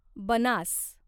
Banas